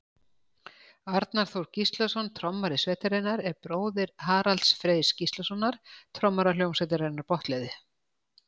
arnar þór gíslason trommari sveitarinnar er bróðir haralds freys gíslasonar trommara hljómsveitarinnar botnleðju